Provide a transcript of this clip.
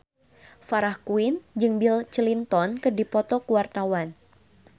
Farah Quinn jeung Bill Clinton keur dipoto ku wartawan